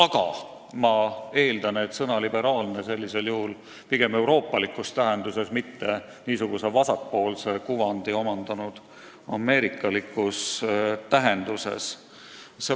Ja ma eeldan, et sõna "liberaalne" on sellisel juhul kasutusel euroopalikus tähenduses, mitte vasakpoolse kuvandi omandanud ameerikalikus tähenduses.